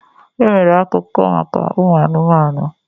E nwere akuko maka ụmụ anụmanụ.